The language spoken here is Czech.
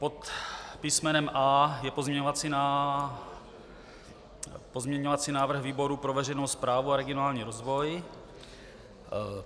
Pod písmenem A je pozměňovací návrh výboru pro veřejnou správu a regionální rozvoj.